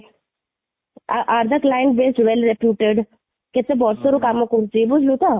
A are the client base well reputed, କେତେ ବର୍ଷ ରୁ କାମ କରୁଛି ?